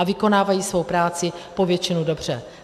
A vykonávají svou práci po většinu dobře.